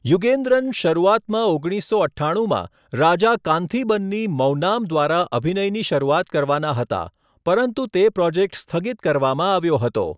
યુગેન્દ્રન શરૂઆતમાં ઓગણીસસો અઠ્ઠાણુંમાં રાજા કાન્થીબનની 'મૌનામ' દ્વારા અભિનયની શરૂઆત કરવાના હતા, પરંતુ તે પ્રોજેક્ટ સ્થગિત કરવામાં આવ્યો હતો.